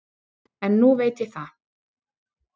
En nú veit ég það.